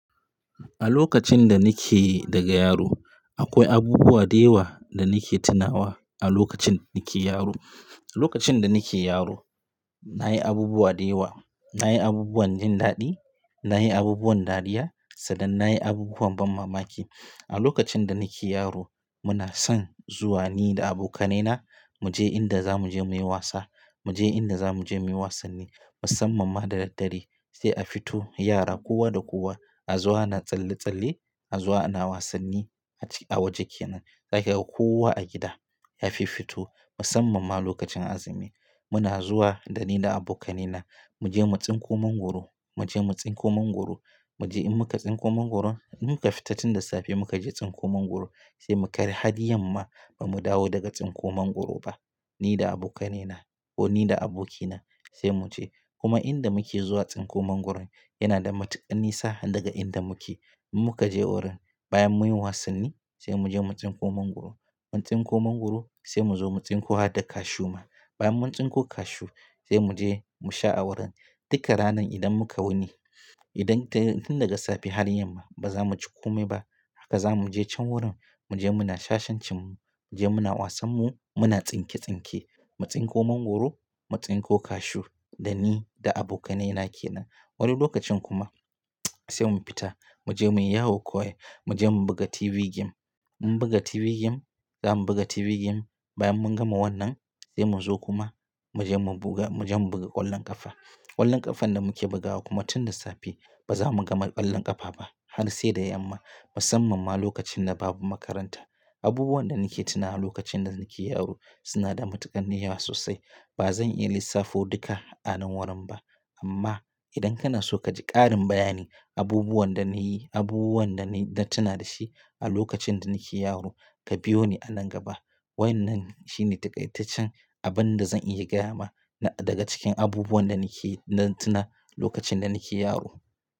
A lokacin da nike daga yaro akwai abubuwa da yawa da nike tunawa a lokacin nike yaro. Lokacin da nike yaro nayi abubuwa da yawa, nayi abubuwan jin daɗi, nayi abubuwan dariya sannan nayi abubuwan ban mamaki. A lokacin da nike yaro muna son zuwa ni da abokanaina muje inda zamuje muyi wasa, muje inda zamuje muyi wasanni musamman ma da daddare sai a fito yara kowa da kowa a zuwa na tsalle-tsalle, a zo ana wasanni aci a waje kenan. Za ka ga kowa a gida ya fi fito musamman ma lokacin azumi. Muna zuwa da ni da abokanaina muje mu tsinko mangwaro, muje mu tsinko mangwaro. Muje in muka tsinko mangwaron, in muka fita tun daga safe muka je tsinko mangwaro sai muka yi har yamma ba mu dawo daga tsinko mangwaro ba ni da abokanaina ko ni da abokina sai mu je. Kuma inda muke zuwa tsinko mangwaron yana da matuƙan nisa daga inda muke. In muka je wurin bayan muyi wasanni sai muje mu tsinko mangwaro. Mun tsinko mangwaro sai mu zo mu tsinko had da kashu ma. Bayan mun tsinko kashu sai muje mu sha a wurin. Duka ranar idan muka wuni, idan tun daga safe har yamma ba za mu ci komai ba haka za mu je can wurin muje muna shashancin mu, muje muna wasan mu muna tsinke-tsinke. Mu tsinko mangwaro, mu tsinko kashu da ni da abokanaina kenan. Wani lokacin kuma sai mun fita muje muyi yawo ko ai, muje mu buga TV game. Mun buga TV game, zamu buga TV game bayan mun gama wannan sai muzo kuma muje mu buga, muje mu buga ƙwallon ƙafa. Ƙwallon ƙafan da muke bugawa kuma tun da safe ba za mu gama ƙwallon ƙafa ba har sai da yamma musamman ma lokacin da babu makaranta. Abubuwan da nike tunawa lokacin da nike yaro suna da matuƙan yawa sosai ba zan iya lissafo duka a nan wurin ba. Amma idan kana so kaji ƙarin bayani abubuwan da nayi, abubuwan da nayi na tuna dashi a lokacin da nike yaro ka biyo ni a nan gaba. Wannan shine taƙaitaccen abin da zan iya gaya ma daga cikin abubuwan da nike na tuna lokacin da nike yaro.